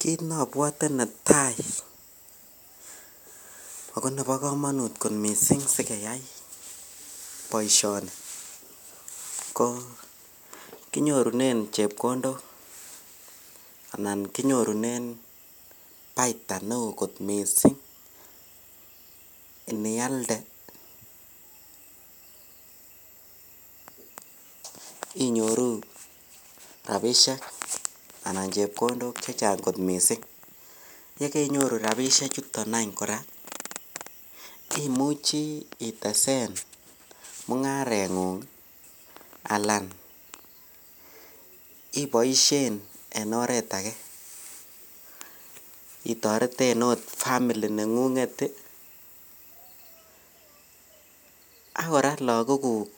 Kiit nobwote netai ak ko nebokomonut mising sikeyai boishoni ko kinyorunen chepkondok anan kinyorunen baitaa neoo kot mising inialde inyoru rabishek anan chepkondok chechang kot mising, yakeinyoru rabishechuton any kora imuche itesen mung'arengung alaan iboishen en oreet akee itoreten oot family neng'ung'et ak kora lokokuk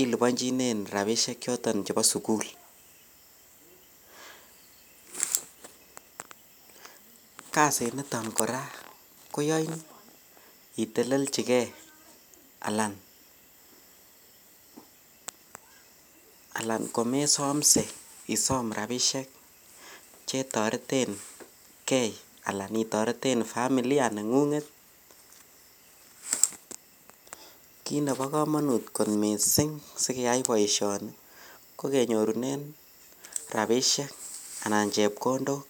ilibonchinen rabishek choton chebo sukul, kasiniton kora koyoin iteleljike alaan komesomse isoom rabishek chetoreteng'e alaan itoreten familia neng'ung'et, kiit nebokomonut mising sikeyai boishoni ko kenyorunen rabishek anan chepkondok.